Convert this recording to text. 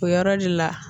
O yɔrɔ de la